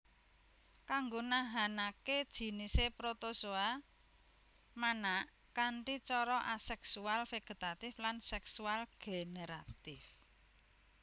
Kanggo nahanaké jinisé Protozoa manak kanthi cara aseksual vegetatif lan seksual generatif